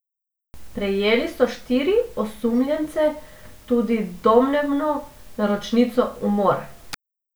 Prijeli so štiri osumljence, tudi domnevno naročnico umora.